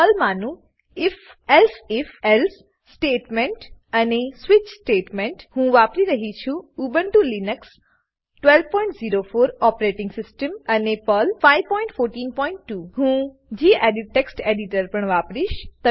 પર્લમાનું if elsif else statement અને switch statement હું વાપરી રહ્યી છું ઉબુન્ટુ લીનક્સ 1204 ઓપરેટીંગ સીસ્ટમ અને પર્લ 5142 હું ગેડિટ ટેક્સ્ટ એડિટર પણ વાપરીશ